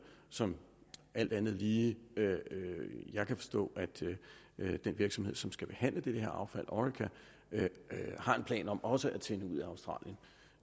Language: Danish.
som jeg alt andet lige kan forstå at den virksomhed som skal behandle det her affald orica har en plan om også at sende ud af australien